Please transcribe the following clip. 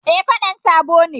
Eh, fedan sabo ne